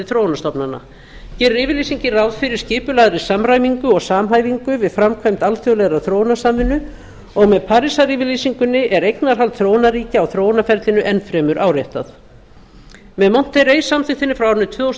þróunarstofnana gerir yfirlýsingin ráð fyrir skipulagðri samræmingu og samhæfingu við framkvæmd alþjóðlegrar þróunarsamvinnu og með parísaryfirlýsingunni er eignarhald þróunarríkja á þróunarferlinu enn fremur áréttað með monterrey samþykktinni frá árinu tvö þúsund